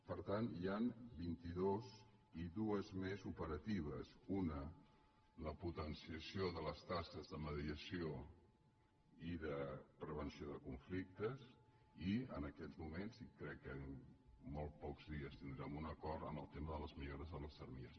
per tant n’hi han vint·i·dues i dues més operatives una la potenciació de les tasques de mediació i de pre·venció de conflictes i en aquests moments i crec que en molt pocs dies tindrem un acord en el tema de les millores de les armilles